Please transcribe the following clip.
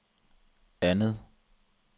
andet